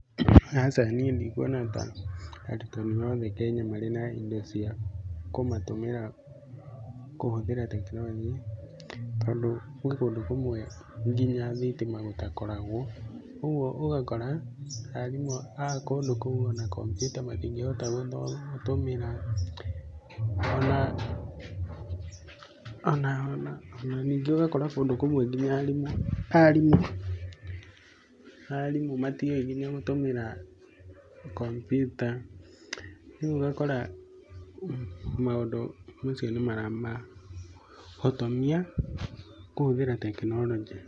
Aca niĩ ndikuona ta arutani othe Kenya marĩ na indo cia gũtumira kũhũthĩra tekinoronjĩ, tondũ gwĩ kũndũ kũmwe nginya thitima gũtakoragwo. Ũguo ũgakora arimũ a kũndũ kũu ona computer matingĩhota gũtũmĩra, ona ningĩ ũgakora kũndũ kũmwe ngina arimũ, arimũ matiũĩ ngina gũtũmĩra computer, rĩu ũgakora maũndũ macio nĩ maramahotomia kũhũthĩra tekinoronjĩ.